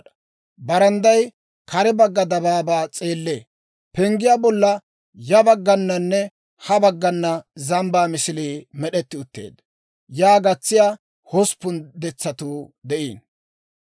Barandday kare bagga dabaabaa s'eellee. Penggiyaa bolla ya baggananne ha baggana zambbaa misilii med'etti utteedda. Yaa gatsiyaa hosppun detsatuu de'iino.